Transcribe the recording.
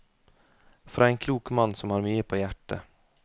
Fra en klok mann som har mye på hjertet.